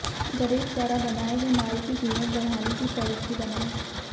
गरीब द्वारा बनाये गये माल की कीमत बढ़ाने की पालिसी बनायें